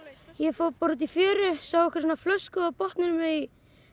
ég fór bara út í fjöru sá einhverja svona flösku á botninum í